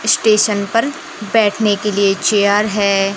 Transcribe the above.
Station पर बैठने के लिए चेयर है।